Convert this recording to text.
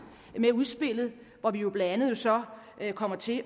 med udspillet hvor vi jo blandt andet så ikke kommer til